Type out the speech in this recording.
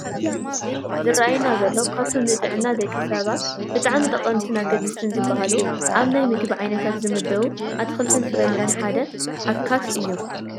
እቲ ኣብቲ ምስሊ ዝራኣየና ዘሎ ካብቶም ንጥዕና ደቂ ሰባት ብጣዕሚ ጠቐምትን ኣገደስትን ዝባሃሉ ኣብ ናይ ምግቢ ዓይነታት ዝምደቡ ኣትክልትን ፍራምረን ሓደ ዓካት እዩ፡፡